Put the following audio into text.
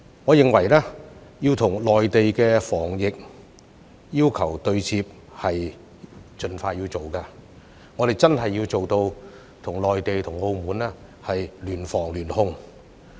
我認為與內地的防疫要求對接是要盡快落實的，我們真的要做到與內地和澳門聯防聯控。